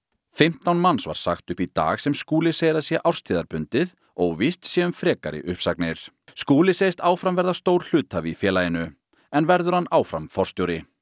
fimmtán manns var sagt upp í dag sem Skúli segir að sé árstíðarbundið óvíst sé um frekari uppsagnir Skúli segist áfram verða stór hluthafi í félaginu en verður hann áfram forstjóri